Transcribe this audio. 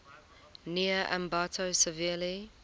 near ambato severely